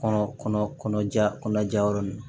Kɔnɔ kɔnɔ kɔnɔja kɔnɔ ja yɔrɔ nunnu na